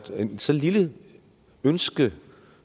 så lille ønske